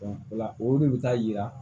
o la olu de bi taa yira